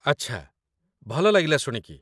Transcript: ଆଚ୍ଛା, ଭଲ ଲାଗିଲା ଶୁଣିକି